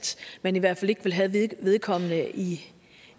man i hvert fald ikke vil have vedkommende i